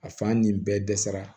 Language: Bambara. A fan ni bɛɛ dɛsɛra